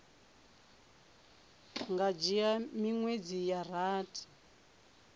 nga dzhia miṅwedzi ya rathi